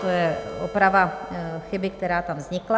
To je oprava chyby, která tam vznikla.